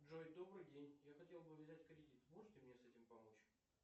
джой добрый день я хотел бы взять кредит можете мне с этим помочь